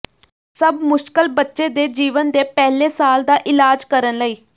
ਸਭ ਮੁਸ਼ਕਲ ਬੱਚੇ ਦੇ ਜੀਵਨ ਦੇ ਪਹਿਲੇ ਸਾਲ ਦਾ ਇਲਾਜ ਕਰਨ ਲਈ